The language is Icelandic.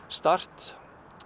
start